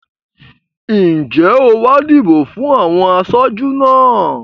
Ǹjẹ́ o wá dìbò fún àwọn aṣojú náà?